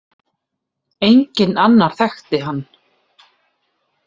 Enginn annar þekkti hann.